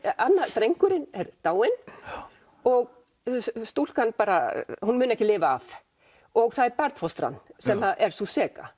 drengurinn er dáinn og stúlkan hún mun ekki lifa af og það er barnfóstran sem er sú seka